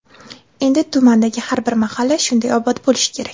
Endi tumandagi har bir mahalla shunday obod bo‘lishi kerak.